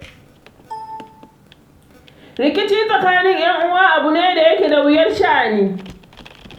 Rikici tsakanin ƴan'uwa abu ne da ke da wuyar sha'ani.